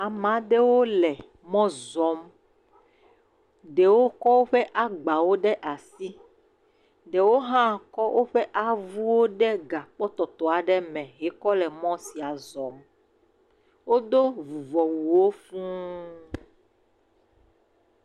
Ameaɖewo le mɔ zɔm, ɖewo kɔ woƒe agba ɖe asi, ɖewo ha kɔ woƒe avuwo ɖe gãkpɔ tɔtɔ aɖe me, he kɔ le mɔ sia zɔm. Wo do vuvɔwuwo fũ.